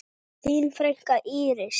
Þín frænka, Íris.